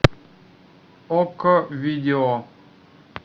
окко видео